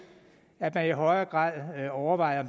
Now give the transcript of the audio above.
at man i højere grad overvejer